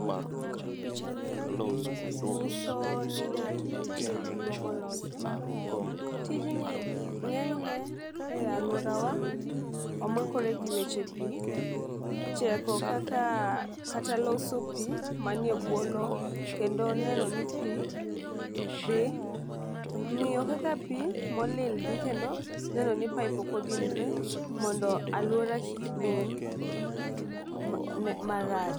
Picha ni ng'iso ni ng'ato nitie bugo molosi. Tijni ng'enyne e aluorawa omakore gi weche pii cheko kaka kata loso pii manie bwo lowo kendo neno ni pii dhi ng'iyo kaka pii molil dhi kendo neno ni pipe ok odinre mondo aluora kik dum marach.